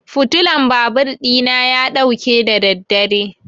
fitulan babur ɗina ya ɗauke da daddare.